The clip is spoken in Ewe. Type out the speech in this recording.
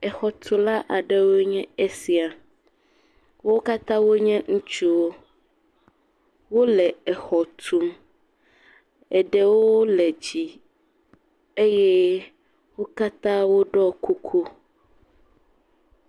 Exɔtula aɖewo nye esia. Wo katã wonye ŋutsuwo. Wo le exɔ tum. Eɖewo le dzi eye wo katã woɖɔ kuku.